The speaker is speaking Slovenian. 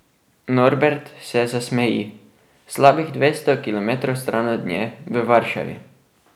Norbert se zasmeji, slabih dvesto kilometrov stran od nje, v Varšavi.